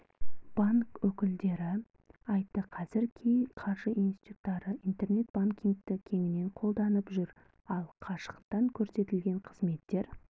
банк өкілдері айтты қазір кей қаржы институттары интернет-банкингті кеңінен қолданып жүр ал қашықтан көрсетілетін қызметтер